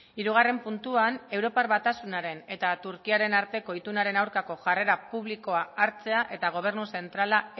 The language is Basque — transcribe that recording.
hirugarren puntuan europar batasunaren eta turkiaren arteko itunaren aurkako jarrera publikoa hartzea eta gobernu zentrala